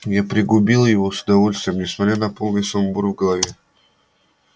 я пригубил его с удовольствием несмотря на полный сумбур в голове